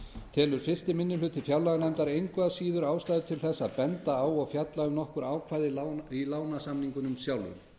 telur fyrsti minni hluti fjárlaganefndar engu að síður ástæðu til að benda á og fjalla um nokkur ákvæði í lánasamningunum sjálfum það